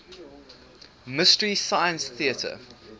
mystery science theater